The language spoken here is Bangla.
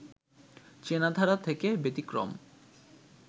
চেনাধারা থেকে ব্যতিক্রম